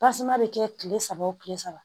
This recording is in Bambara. bɛ kɛ kile saba o kile saba